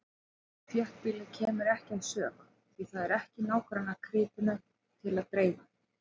Og þéttbýlið kemur ekki að sök, því það er ekki nágrannakrytinum til að dreifa.